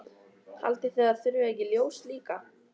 Haldið þið að það þurfi ekki ljós líka?